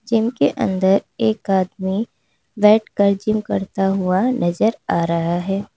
Gym के अंदर एक आदमी बैठकर जिम करता हुआ नजर आ रहा है।